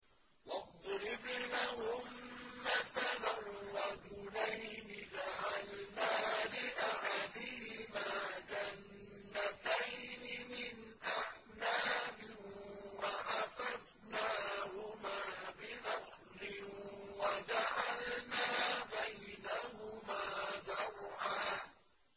۞ وَاضْرِبْ لَهُم مَّثَلًا رَّجُلَيْنِ جَعَلْنَا لِأَحَدِهِمَا جَنَّتَيْنِ مِنْ أَعْنَابٍ وَحَفَفْنَاهُمَا بِنَخْلٍ وَجَعَلْنَا بَيْنَهُمَا زَرْعًا